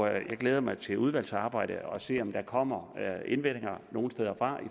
jeg glæder mig til udvalgsarbejdet og vil se om der kommer indvendinger nogle steder fra